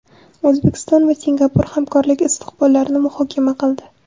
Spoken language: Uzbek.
O‘zbekiston va Singapur hamkorlik istiqbollarini muhokama qildi.